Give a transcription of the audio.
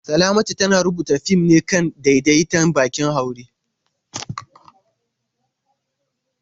Salamatu tana rubuta fim ne kan daidaita baƙin haure.